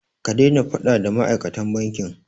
Ka daina faɗa da ma'aikatan bankin!